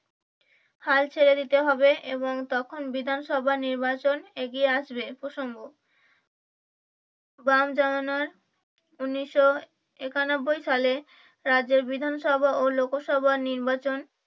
হাল ছেড়ে দিতে হবে এবং তখন বিধানসভা নির্বাচন এগিয়ে আসবে প্রসঙ্গ বাম জমানার ঊনিশশো একানব্বই সালে রাজ্যের বিধানসভা ও লোকসভা নির্বাচন